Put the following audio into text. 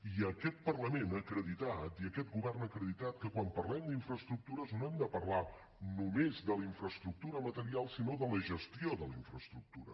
i aquest parlament ha acreditat i aquest govern ha acreditat que quan parlem d’infraestructures no hem de parlar només de la infraestructura material sinó de la gestió de la infraestructura